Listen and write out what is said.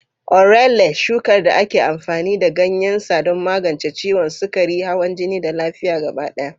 Orele, shukar da ake amfani da ganyen sa don magance ciwon sukari, hawan jini, da lafiya gaba ɗaya.